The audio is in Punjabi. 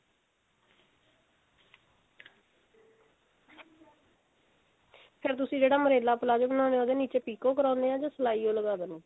ਫੇਰ ਤੁਸੀਂ ਜਿਹੜਾ umbrella palazzo ਬਣਾਉਂਦੇ ਹੋ ਉਹਦੇ ਨਿੱਚੇ ਪਿਕੋ ਕਰਾਉਂਦੇ ਹੋ ਜਾ ਸਿਲਾਈ ਓ ਲਗਾ ਦਿੰਦੇ ਹੋ